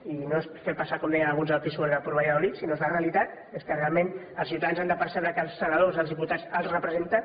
i no és fer passar com deien alguns el pisuerga por valladolid sinó que és la realitat és que realment els ciutadans han de percebre que els senadors els diputats els representen